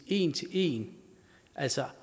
en til en altså